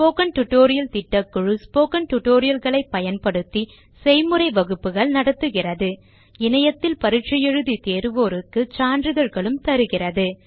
spoken tutorial திட்டக்குழு Spoken tutorial களை பயன்படுத்தி செய்முறை வகுப்புகள் நடத்துகிறது